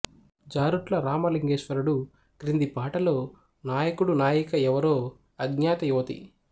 జారుట్ల రామ లింగేశ్వరుడు క్రింది పాటలో నాయకుడు నాయిక ఎవరో అజ్ఞాత యువతి